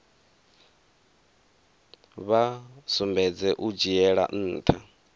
vha sumbedze u dzhiela ntha